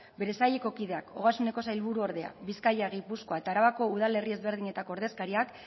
bere saileko kideak ogasuneko sailburuordea bizkaia gipuzkoa eta arabako udalerri ezberdinetako ordezkariak